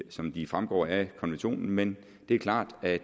som de fremgår af konventionen men det er klart at